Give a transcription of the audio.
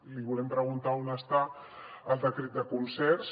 li volem preguntar on està el decret de concerts